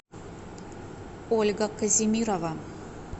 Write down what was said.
ольга казимирова